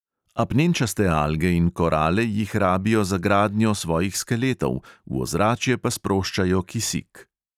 Apnenčaste alge in korale jih rabijo za gradnjo svojih skeletov, v ozračje pa sproščajo kisik.